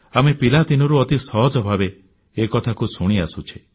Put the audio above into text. ଆମେ ପିଲାଦିନରୁ ଅତି ସହଜ ଭାବେ ଏକଥାକୁ ଶୁଣି ଆସୁଛେ